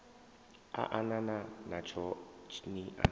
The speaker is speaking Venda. a anana natsho ni a